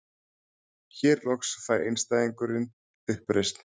Hér loks fær einstæðingurinn uppreisn.